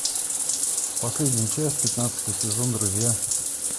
последняя часть пятнадцатый сезон друзья